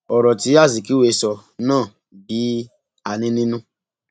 ọrọ tí azikiwe sọ náà bí àní nínú